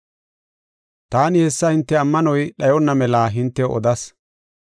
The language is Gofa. “Taani hessa hinte ammanoy dhayonna mela hintew odas.